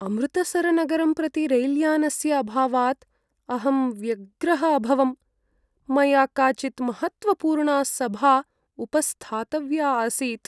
अमृतसरनगरं प्रति रैल्यानस्य अभावात् अहं व्यग्रः अभवम्, मया काचित् महत्त्वपूर्णा सभा उपस्थातव्या आसीत्।